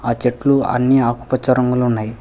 ఆ చెట్లు అన్ని ఆకుపచ్చ రంగులో ఉన్నాయి.